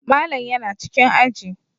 Malam yana cikin aji